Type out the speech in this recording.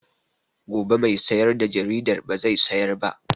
Gobe mai sayar da jaridar ba zai sayar ba